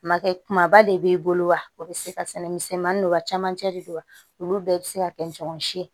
Makɛ kumaba de b'i bolo wa o be se ka sɛnɛ misɛnmanin don wa camancɛ de don wa olu bɛɛ bɛ se ka kɛ ɲɔgɔn si ye